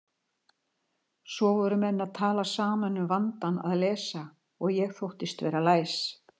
Svo voru menn að tala saman um vandann að lesa og ég þóttist vera læs.